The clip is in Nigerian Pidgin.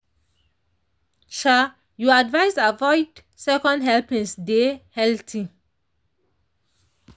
you advised avoid second helpings deh healthy.